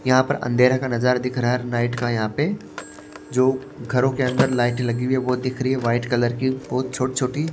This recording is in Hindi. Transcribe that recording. यहां पर अंधेरे का नजारा दिख रहा है नाइट का यहां पे जो घरों के अंदर लाइट लगी हुई है वो दिख रही है व्हाइट कलर की बहुत छोटी-छोटी।